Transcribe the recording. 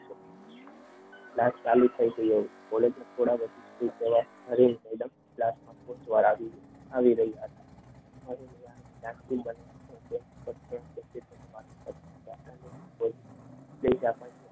light ચાલુ થઈ છે કોલેજમાં થોડા વર્ષથી પહેલા આવી રહ્યા હતા